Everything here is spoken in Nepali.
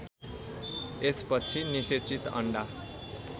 यसपछि निषेचित अन्डा